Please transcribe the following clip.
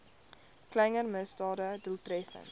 kleiner misdade doeltreffend